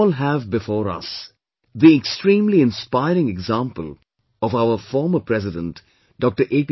We all have before us the extremely inspiring example of our former President Dr